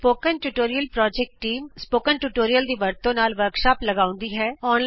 spoken tutorial project team spoken tutorial ਦੀ ਵਰਤੋਂ ਨਾਲ ਵਰਕਸ਼ਾਪ ਲਗਾਉਂਦੀ ਹੈ